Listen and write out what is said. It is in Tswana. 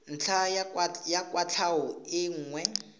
ntlha ya kwatlhao e nngwe